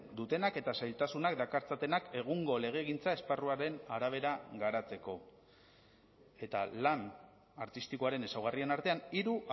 dutenak eta zailtasunak dakartzatenak egungo legegintza esparruaren arabera garatzeko eta lan artistikoaren ezaugarrien artean hiru